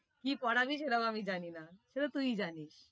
কি পড়াবি সেটাও আমি জানি, সেতো তুই জানিস।